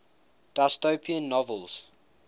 dystopian novels